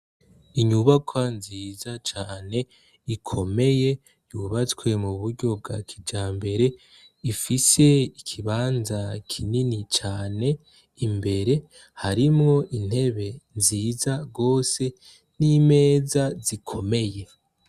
Inyubakwa nziza cane ikomeye yubatswe muburyo bwakijambere ifise ikibanza kinini cane imbere harimwo intebe nziza gose nimeza zikomeye